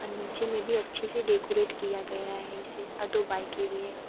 और नीचे में भी अच्छे से डेकोरेट किया गया है इसे और दो बाइकें भी हैं।